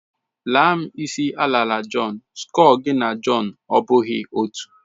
Laa m isi alara Jọn, skọlu gị na Jọn abụghị otú.